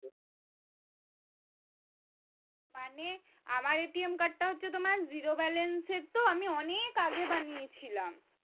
মানে আমার টা হচ্ছে তোমার জিরো ব্যালেন্সের তো আমি অনেক আগে বানিয়ে ছিলাম